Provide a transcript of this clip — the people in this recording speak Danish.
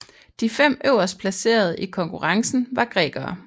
De fem øverstplacerede i konkurrencen var grækere